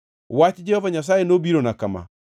Wach Jehova Nyasaye nobirona kama: